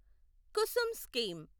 Kusum scheme